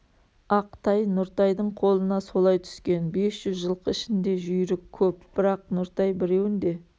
ақ тай нұртайдың қолына солай түскен бес жүз жылқы ішінде жүйрік көп бірақ нұртай біреуін де